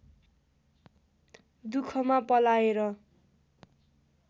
दुखमा पलाएर